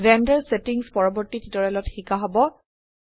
render settings পৰবৰ্তী টিউটোৰিয়েলত শিকা হব